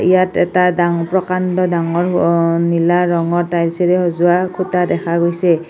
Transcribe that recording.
ইয়াত এটা দাং প্ৰকাণ্ড ডাঙৰ অঅ নীলা ৰঙৰ টাইলচেৰে সজোৱা খুঁটা দেখা গৈছে।